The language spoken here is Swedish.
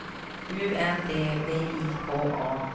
U N D V I K A